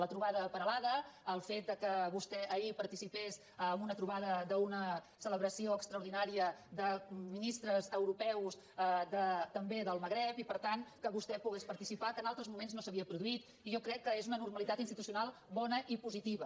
la trobada a peralada el fet que vostè ahir participés en una trobada d’una celebració extraordinària de ministres europeus també del magreb i per tant que vostè pogués participar que en altres moments no s’havia produït i jo crec que és una normalitat institucional bona i positiva